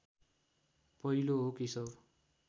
पहिलो हो केशव